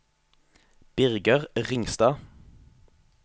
Birger Ringstad